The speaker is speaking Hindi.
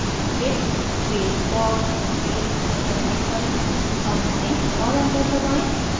git space log space hyphen hyphen oneline और enter दबाएँ